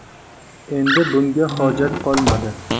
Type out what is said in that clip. – Endi bunga hojat qolmadi.